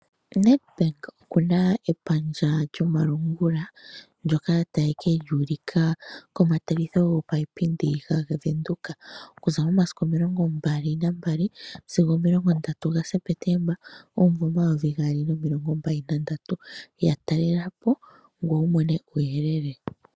Nedbank okuna epandja lyomalungula, ndyoka taye kili ulika komatsiliko gopaipindi gaVenduka. Okuza momasiku omilongo mbali nambali sigo omilongo ndatu gaSeptemba omumvo omayovi gaali nomilongo mbali nandatu. Yatalelepo ngoye wumone uuyelele.